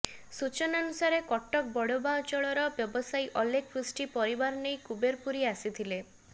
ସୂଚନାନୁସାରେ କଟକ ବଡ଼ମ୍ବା ଅଞ୍ଚଳର ବ୍ୟବସାୟୀ ଅଲେଖ ପୃଷ୍ଟି ପରିବା ନେଇ କୁବେରପୁରୀ ଆସିଥିଲେ